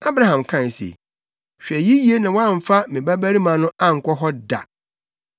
Abraham kae se, “Hwɛ yiye na woamfa me babarima no ankɔ hɔ da.